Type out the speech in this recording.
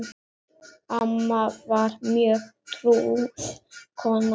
Amma var mjög trúuð kona.